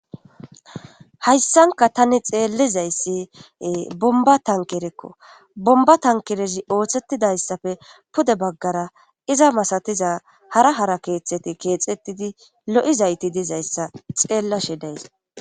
hayssanka tani xeelizayssi bomba tankerekko bomba tankerezi ooththettidayssafe pude baggara iza masatiza hara hara keexxeti keexettidi lo7izayti dizayssa xeellashe days